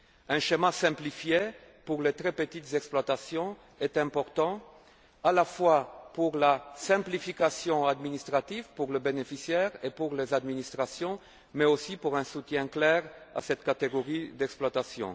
Un schéma simplifié pour les très petites exploitations est important, à la fois pour la simplification administrative en faveur des bénéficiaires et des administrations mais aussi en vue d'un soutien clair à cette catégorie d'exploitations.